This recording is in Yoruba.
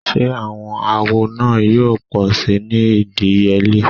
Ṣe awọn awo naa yoo pọ si ni idiyele?